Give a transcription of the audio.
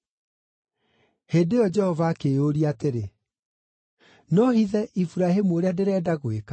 Hĩndĩ ĩyo Jehova akĩĩyũria atĩrĩ, “No hithe Iburahĩmu ũrĩa ndĩrenda gwĩka?